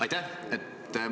Aitäh!